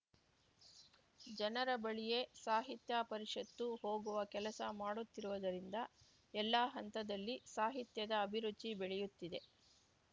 ಜನರ ಬಳಿಯೇ ಸಾಹಿತ್ಯ ಪರಿಷತ್ತು ಹೋಗುವ ಕೆಲಸ ಮಾಡುತ್ತಿರುವುದರಿಂದ ಎಲ್ಲಾ ಹಂತದಲ್ಲಿ ಸಾಹಿತ್ಯದ ಅಭಿರುಚಿ ಬೆಳೆಯುತ್ತಿದೆ